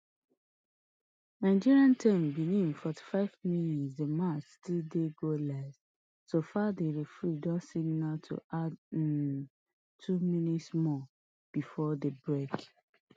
nigeria ten benin forty-five mins di match still dey goalless so far di referee don signal to add um two more minutes before di break